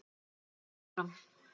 hélt hann áfram.